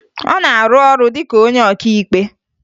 Ọ na-arụ ọrụ dị ka onye ọkaikpe